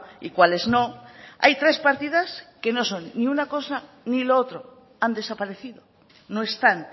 y cuáles no hay tres partidas y no son ni una cosa ni lo otro han desaparecido no están